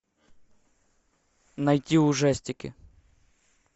найти ужастики